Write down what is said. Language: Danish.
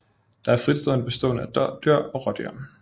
Der er fritstående bestande af dådyr og rådyr